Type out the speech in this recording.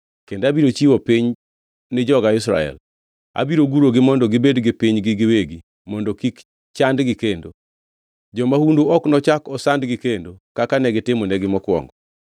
Kendo abiro chiwo piny ni joga Israel, abiro gurogi mondo gibed gi pinygi giwegi mondo kik chandgi kendo. Jomahundu ok nochak osandgi kendo kaka negitimonegi mokwongo,